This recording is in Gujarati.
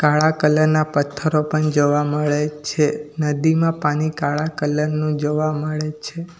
કાળા કલર ના પથ્થરો પણ જોવા મળે છે નદીમાં પાની કાળા કલર નું જોવા મળે છે.